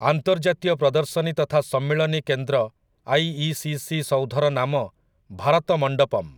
ଆନ୍ତର୍ଜାତୀୟ ପ୍ରଦର୍ଶନୀ ତଥା ସମ୍ମିଳନୀ କେନ୍ଦ୍ର ଆଇଇସିସି ସୌଧର ନାମ ଭାରତ ମଣ୍ଡପମ୍